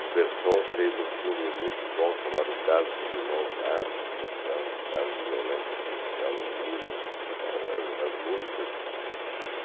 O Persson fez um filme muito bom chamado Caso dos Irmãos Naves, que mostrava um caso de violência policial em Minas. Ah as músicas